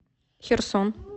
херсон